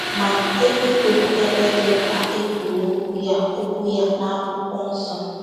Ma, eluigwe bụ ebe dị mkpa e kwuru okwu ya okwu ya na akwụkwọ nsọ.